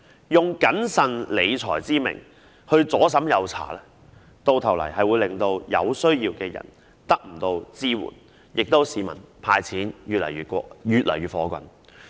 如以"謹慎理財"之名左審右查，最終只會令有需要的人得不到支援，而市民亦會對"派錢"越來越反感。